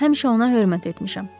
Həmişə ona hörmət etmişəm.